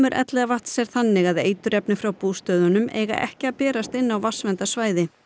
Elliðavatns er þannig að eiturefni frá bústöðunum eiga ekki að berast inn á vatnsverndarsvæði